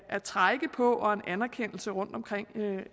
at trække på og en anerkendelse rundtomkring